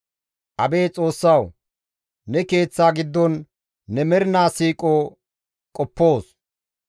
Abeet Xoossawu, ne Keeththa giddon ne mernaa siiqo qoppoos.